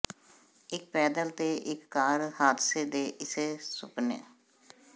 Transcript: ਇਕ ਪੈਦਲ ਤੇ ਇਕ ਕਾਰ ਹਾਦਸੇ ਦੇ ਇਸੇ ਸੁਪਨੇ